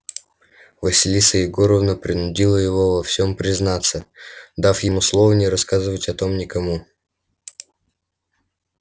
василиса егоровна принудила его во всем признаться дав ему слово не рассказывать о том никому